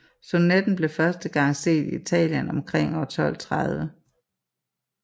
Sonetten blev første gang set i Italien omkring år 1230